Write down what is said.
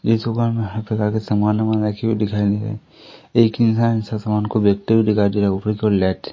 इस दुकान में हर तरह के सामान वामान रखे हुए दिखाई दे रहे एक इंसान उस समान को बेचते हुए दिखाई दे रहा है ऊपर की ओर लाइट --